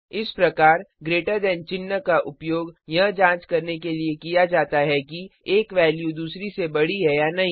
इस प्रकार greater than चिन्ह का उपयोग यह जांच करने के लिए किया जाता है कि एक वैल्यू दूसरे से बड़ी है या नहीं